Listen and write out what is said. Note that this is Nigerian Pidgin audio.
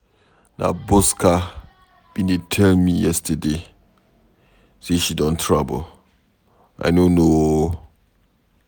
Na Bosca bin dey tell me yesterday say she don travel. I no know ooo